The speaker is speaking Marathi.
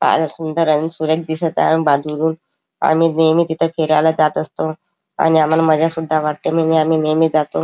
फार सुंदर आणि सुरेख दिसत आहे आम्ही नेहमी तिथे फिरायला जात असतो आणि आम्हाला मज्जा सुद्धा वाटते म्हणून आम्ही नेहमी जातो.